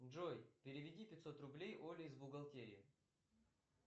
джой переведи пятьсот рублей оле из бухгалтерии